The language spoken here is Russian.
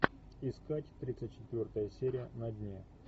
искать тридцать четвертая серия на дне